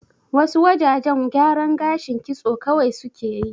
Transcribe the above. Wa su wajajen gyaran gashin kitso kawai su ke yi